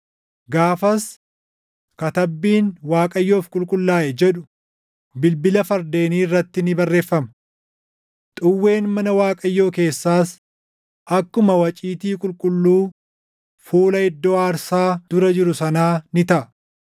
Gaafas katabbiin, “ Waaqayyoof qulqullaaʼe” jedhu bilbila fardeenii irratti ni barreeffama. Xuwween mana Waaqayyoo keessaas akkuma waciitii qulqulluu fuula iddoo aarsaa dura jiru sanaa ni taʼa.